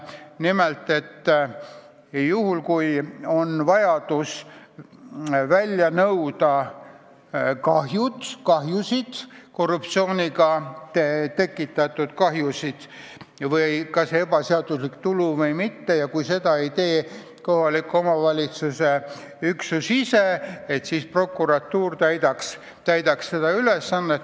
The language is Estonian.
Nimelt: juhul kui on korruptsiooniga tekitatud omavalitsusele kahju või on tegu ebaseadusliku tuluga, siis kui kahjunõuet ei esita kohaliku omavalitsuse üksus ise, siis peab seda tegema prokuratuur.